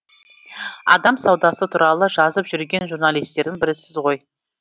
адам саудасы туралы жазып жүрген журналистердің бірісіз ғой